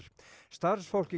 starfsfólk í